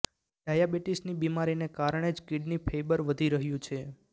ડાયાબીટીસની બિમારીને કારણે જ કીડની ફેઇબર વધી રહ્યું છે